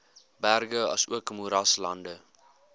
berge asook moeraslande